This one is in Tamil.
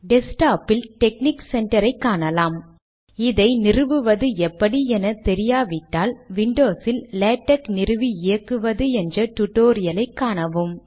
டெஸ்க்டாப் இல் டெக்னிக் சென்டரை காணலாம் இதை நிறுவுவது எப்படி எனத்தெரியாவிட்டால் விண்டோஸ் இல் லேடக் நிறுவி இயக்குவது என்ற டுடோரியல் ஐ காணுங்கள்